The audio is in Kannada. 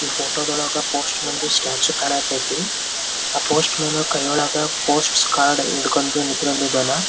ಈ ಫೋಟೋ ದೊಳಗ ಪೋಸ್ಟ್ ಮ್ಯಾನ್ ದು ಸ್ಟ್ಯಾಚು ಕಾಣಹತೈತಿ ಆಹ್ಹ್ ಪೋಸ್ಟ್ ಮ್ಯಾನ್ ಕೈಯೊಳಗ ಪೋಸ್ಟ್ ಕಾರ್ಡ್ ಹಿಡ್ಕೊಂಡ್ ನಿಂತ್ಕೊಂಡಿದ್ದಾನಾ.